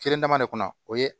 Kelen dama ne kɔnɔ o ye